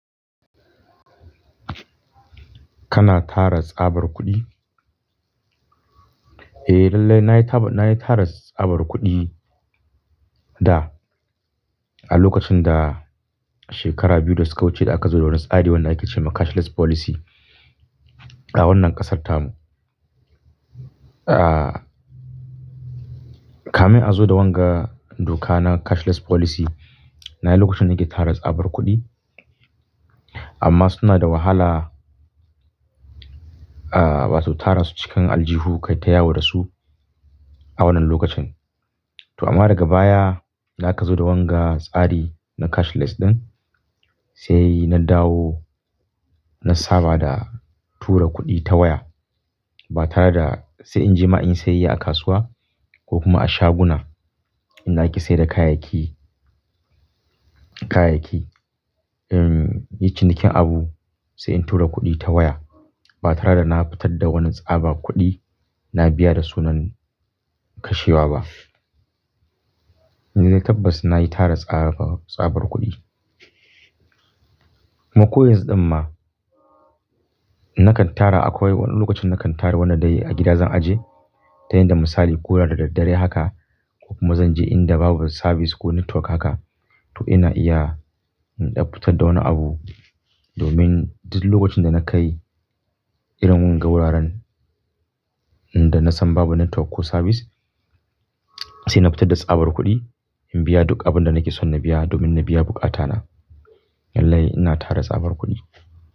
Kana tara tsabar kuɗi? Eh lallai na yi tara tsabar kuɗi da a lokacin da shekara biyu da suka wuce da aka zo da wani tsari wanda ake ce ma cashless policy a wannan ƙasarta mu. Ah, kamin a zo da wanga dokana cashless policy na yi lokacin da nake tara tsabar kuɗi amma suna da wahala ah, wato tara su cikin aljihu kai tayawo da su a wannan lokacin. To amma daga baya da aka zo da wanga tsari na cashless ɗin sai na dawo na saba da tura kuɗi ta waya ba tare da sai in je ma in yi sayayya a kasuwa ko kuma a shaguna in da ake sayar da kayayyaki, kayayyaki. Em, yi cinikin abu sai in tura kuɗi ta waya ba tare da na fitar da wani tsabar kuɗi na biya da sunan kashewa ba. Lallai tabbas na yi tara tsabar kuɗi. Kuma ko yanzu ɗin ma nakan tara akwai wani lokacin nakan tara wanda dai a gida zan ajiye tayadda misali koda da daddare haka ko kuma zan je inda babu sabis ko network haka to ina iya in ɗan fitar da wani abu domin duk lokacin da na kai irin wanga wuraren da na san babu network ko sabis sai na fitar da tsabar kuɗi in biya duk abin da nake son na biya domin na biya buƙata na. Lallai ina tara tsabar kuɗi.